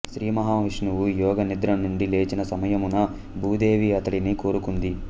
శ్రీ మహావిష్ణువు యోగ నిద్ర నుండి లేచిన సమయమున భూదేవి అతడిని కోరుకుంది